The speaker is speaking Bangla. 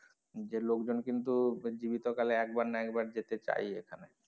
যে লোকজন কিন্তু জীবিত কালে একবার না একবার যেতে চায়ই এখানে।